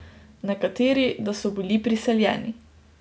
Nekateri, da so bili prisiljeni.